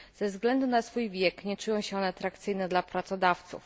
Ze względu na swój wiek nie czują się one atrakcyjne dla pracodawców.